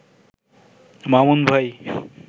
মামুন ভাই